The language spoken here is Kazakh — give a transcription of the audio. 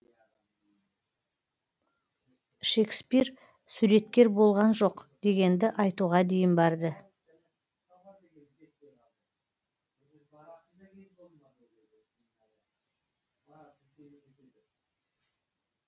шекспир суреткер болған жоқ дегенді айтуға дейін барды